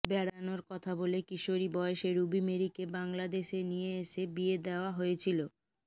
বেড়ানোর কথা বলে কিশোরী বয়সে রুবি মেরিকে বাংলাদেশে নিয়ে এসে বিয়ে দেয়া হয়েছিল